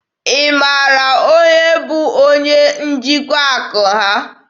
Ị mara onye bụ onye njikwa akụ ha?